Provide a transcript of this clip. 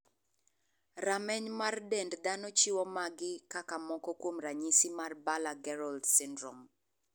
Rameny mar dend dhano chiwo magi kaka moko kuom ranyisi mar Baller Gerold syndrome.